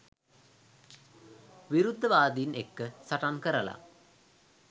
විරුද්ධවාදින් එක්ක සටන් කරලා